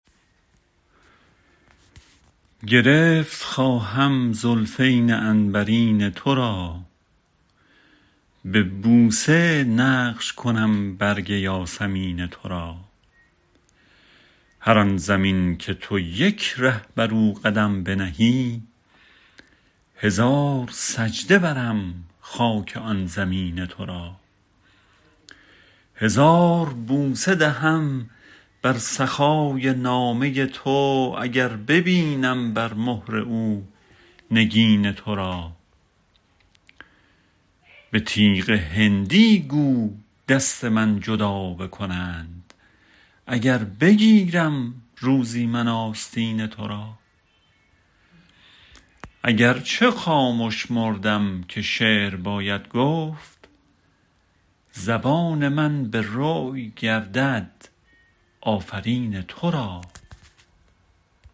گرفت خواهم زلفین عنبرین تو را به بوسه نقش کنم برگ یاسمین تو را هر آن زمین که تو یک ره بر او قدم بنهی هزار سجده برم خاک آن زمین تو را هزار بوسه دهم بر سحای نامه تو اگر ببینم بر مهر او نگین تو را به تیغ هندی گو دست من جدا بکنند اگر بگیرم روزی من آستین تو را اگرچه خامش مردم که شعر باید گفت زبان من به روی گردد آفرین تو را